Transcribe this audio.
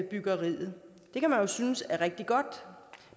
byggeriet det kan man jo synes er rigtig godt